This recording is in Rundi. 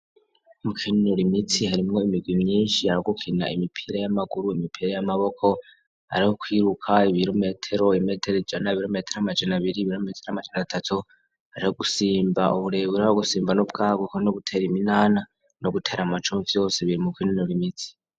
Mu kinunuro imitsi harimwo imigwimi yinshi aragukina imipira y'amaguru imipira y'amaboko ari ho kwiruka ibilometero imetero jana bilometero amajana abiri ibilometero amajana atatu aragusimba uburebura wo gusimba n'ubwaguko n'ugutera iminana no gutera amacumfi yose biri mu kinunuro imitsi.